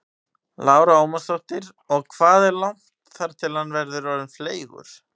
Lára Ómarsdóttir: Og hvað er langt þar til hann verður orðinn fleygur?